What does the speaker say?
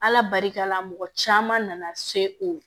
Ala barika la mɔgɔ caman nana se o